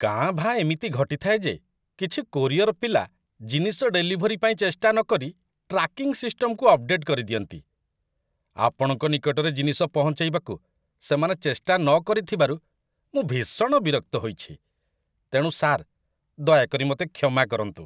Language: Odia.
କାଁ ଭାଁ ଏମିତି ଘଟିଥାଏ ଯେ କିଛି କୋରିଅର ପିଲା ଜିନିଷ ଡେଲିଭରି ପାଇଁ ଚେଷ୍ଟା ନକରି ଟ୍ରାକିଂ ସିଷ୍ଟମକୁ ଅପଡେଟ୍ କରିଦିଅନ୍ତି। ଆପଣଙ୍କ ନିକଟରେ ଜିନିଷ ପହଞ୍ଚେଇବାକୁ ସେମାନେ ଚେଷ୍ଟା ନ କରିଥିବାରୁ ମୁଁ ଭୀଷଣ ବିରକ୍ତ ହୋଇଛି, ତେଣୁ, ସାର୍, ଦୟାକରି ମୋତେ କ୍ଷମା କରନ୍ତୁ।